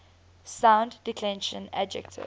second declension adjectives